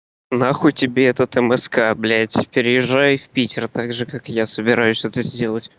нахуй тебе этот мск блядь переезжай в питер так же как я собираюсь это сделать